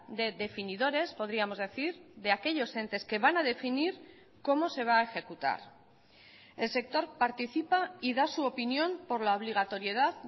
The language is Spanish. de definidores podríamos decir de aquellos entes que van a definir cómo se va a ejecutar el sector participa y da su opinión por la obligatoriedad